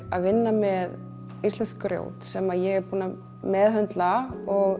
að vinna með íslenskt grjót sem ég er búin að meðhöndla og